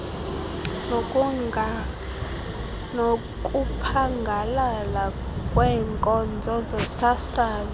nokuphangalala kweenkonzo zosasazo